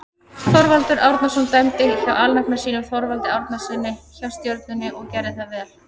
Þorvaldur Árnason dæmdi hjá alnafna sínum Þorvaldi Árnasyni hjá Stjörnunni og gerði það vel.